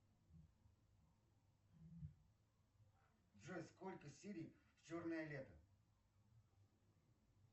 джой сколько серий в черное лето